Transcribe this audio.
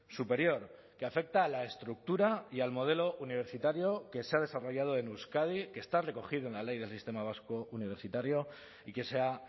superior que afecta a la estructura y al modelo universitario que se ha desarrollado en euskadi que está recogido en la ley del sistema vasco universitario y que se ha